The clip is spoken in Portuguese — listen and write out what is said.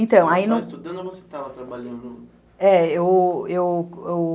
Então, aí... Você estava estudando ou você estava trabalhando? é, eu eu eu